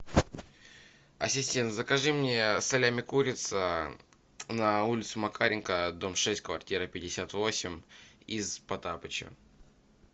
ассистент закажи мне салями курица на улицу макаренко дом шесть квартира пятьдесят восемь из потапыча